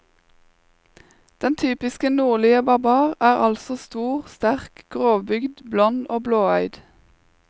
Den typiske nordlige barbar er altså stor, sterk, grovbygd, blond og blåøyd.